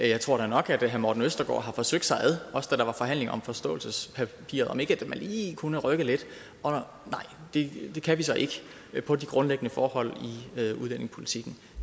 jeg tror da nok at herre morten østergaard har forsøgt sig også da der var forhandlinger om forståelsespapiret om ikke man lige kunne rykke lidt og nej det kan vi så ikke på de grundlæggende forhold i udlændingepolitikken